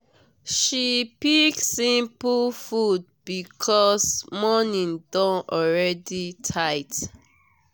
she pick simple food because morning don already tight.